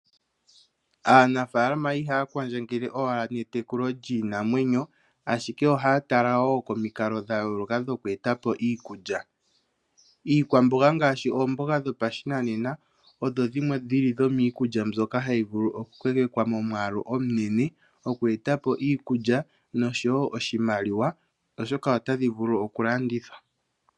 Aanafaalama ihaya kwadjangele owala netekulo lyiinamwenyo, ashike ohaya tala wo komikalo dha yooloka dhoku eta po iikulya. Iikwamboga ngaashi oomboga dhopashinanena odho dhimwe dhili dhomiikulya mbyoka tayi vulu oku kokekwa momwaalu omunene moku eta po iikulya nosho wo oshimaliwa oshoka otadhi vulu oku landithwa.